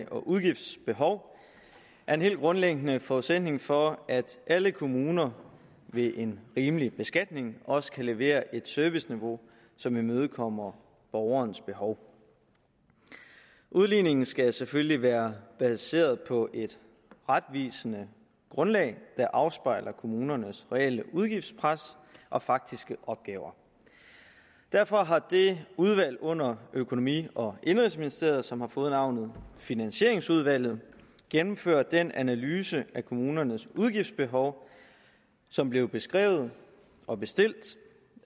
og udgiftsbehov er en helt grundlæggende forudsætning for at alle kommuner ved en rimelig beskatning også kan levere et serviceniveau som imødekommer borgernes behov udligningen skal selvfølgelig være baseret på et retvisende grundlag der afspejler kommunernes reelle udgiftspres og faktiske opgaver derfor har det udvalg under økonomi og indenrigsministeriet som har fået navnet finansieringsudvalget gennemført den analyse af kommunernes udgiftsbehov som blev beskrevet og bestilt